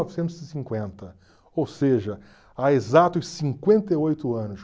e cinquenta, ou seja, há exatos cinquenta e oito anos.